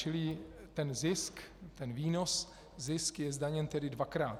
Čili ten zisk, ten výnos, zisk je zdaněn tedy dvakrát.